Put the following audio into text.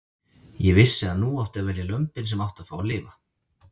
Ég vissi að nú átti að velja lömbin sem áttu að fá að lifa.